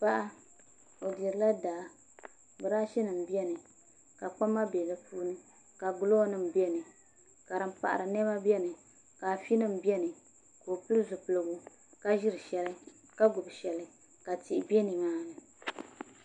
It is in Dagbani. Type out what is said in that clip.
Paɣa o dirila daa brashi nim bɛni ka kpama bɛ di puuni ka glɔi nim bɛni ka sin paɣiri nɛma bɛni ka afi nim bɛni ka o pili zipiligu ka ziri shɛli ka gbubi ahɛli ka tihi bɛ nimaani .